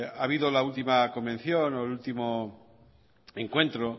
ha habido la última convención o el último encuentro